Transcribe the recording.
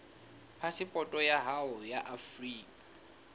phasepoto ya hao ya afrika